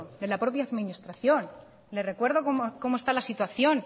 de la propia administración le recuerdo como está la situación